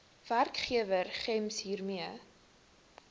werkgewer gems hiermee